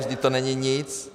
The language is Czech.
Vždyť to není nic.